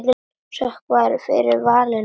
Sokka varð fyrir valinu.